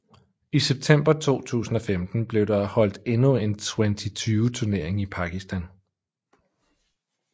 I september 2015 blev der holdt endnu en Twenty20 turnering i Pakistan